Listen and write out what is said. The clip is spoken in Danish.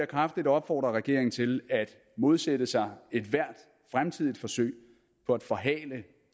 kraftigt opfordre regeringen til at modsætte sig ethvert fremtidigt forsøg på at forhale